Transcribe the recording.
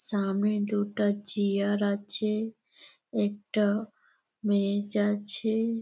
সামনে দুটা চেয়ার আছে একটা মেয়ে যাচ্ছে ।